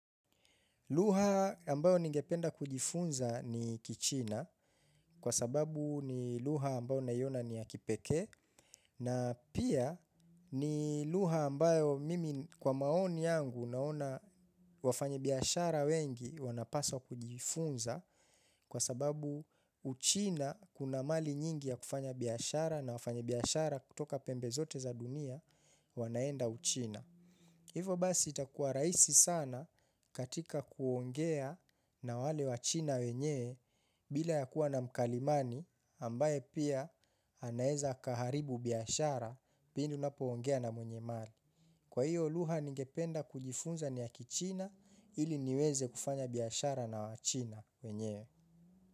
Lugha ambayo ningependa kujifunza ni kichina kwa sababu ni lugha ambayo naiona ni ya kipekee na pia ni lugha ambayo mimi kwa maoni yangu naona wafanyibiashara wengi wanapaswa kujifunza kwa sababu uchina kuna mali nyingi ya kufanya biashara na wafanyi biashara kutoka pembe zote za dunia wanaenda uchina. Hivo basi itakuwa rahisi sana katika kuongea na wale wachina wenyewe bila ya kuwa na mkalimani ambaye pia anaeza akaharibu biashara pindi unapoongea na mwenye mali. Kwa hiyo lugha ningependa kujifunza niya kichina ili niweze kufanya biashara na wachina wenyewe.